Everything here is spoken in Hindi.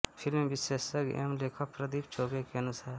फिल्म विशेषज्ञ एवं लेखक प्रदीप चौबे के अनुसार